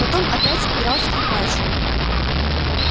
потом опять играл скрипач